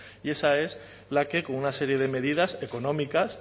y esa es la que con una serie de medidas económicas